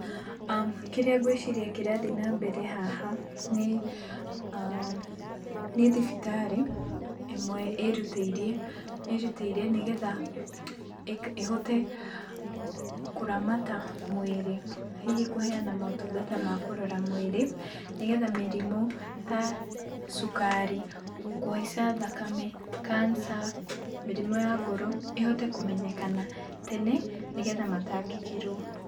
Kĩrĩa ngĩwciria kĩrathiĩ na mbere haha nĩ, nĩ thibitarĩ ĩmwe ĩrutĩire nĩgetha ĩhote kũramata mwĩrĩ hihi kũhena maũtungata ma kũrora mũĩri, nĩgetha mĩrimũ ta cukari, kũhaica thakame, cancer mĩrimũ ya ngoro, ĩhote kũmenyekana tene nĩgetha matangĩkĩrwo.